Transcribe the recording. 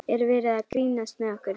Er verið að grínast með okkur?